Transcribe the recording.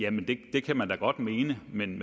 det kan man da godt mene men